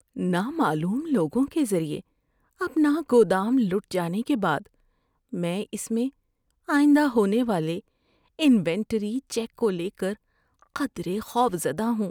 نامعلوم لوگوں کے ذریعے اپنا گودام لُٹ جانے کے بعد میں اس میں آئندہ ہونے والے انوینٹری چیک کو لے کر قدرے خوف زدہ ہوں۔